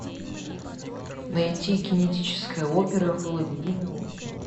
найти генетическая опера фул эйч ди на окко